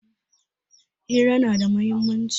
Hira na da muhimmanci.